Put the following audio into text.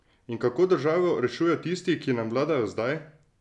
In kako državo rešujejo tisti, ki nam vladajo zdaj?